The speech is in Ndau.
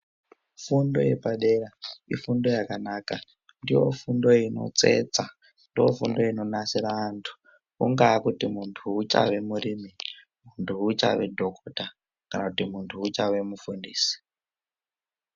Fundo yepadera ifundo yakanaka ndiyo fundo inotsetsa ndofundo inodetsera antu kuti muntu achavei muntu achave dhokota kana kuti muntu achave mufundisi.